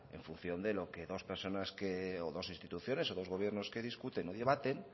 en función de dos personas o dos instituciones que discuten o debaten